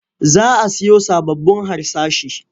Za a siyo sababbun harsashi.